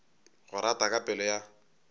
go rata ka pelo ya